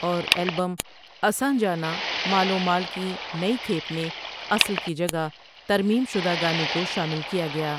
اور البم اساں جانا مال و مال کی نئی کھیپ میں اصل کی جگہ ترمیم شدہ گانے کو شامل کیا گیا ۔